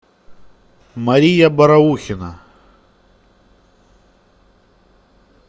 мария бараухина